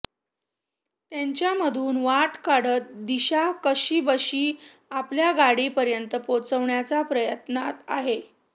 त्यांच्यामधून वाट काढत दिशा कशीबशी आपल्या गाडीपर्यंत पोहोचण्याच्या प्रयत्नात आहे